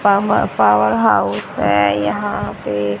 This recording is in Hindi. पाव पॉवर हाउस है यहां पे--